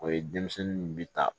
O ye denmisɛnninw bi ta